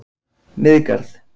Miðgarð